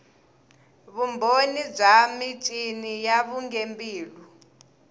vumbhoni bya michini ya vugembuli